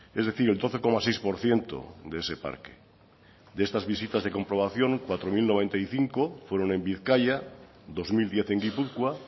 es decir el doce coma seis por ciento de ese parque de estas visitas de comprobación cuatro mil noventa y cinco fueron en bizkaia dos mil diez en gipuzkoa